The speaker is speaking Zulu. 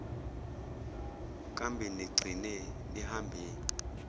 kambe nigcine nihambe